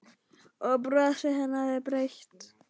Og brosið hennar er breitt.